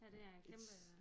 Ja det er en kæmpe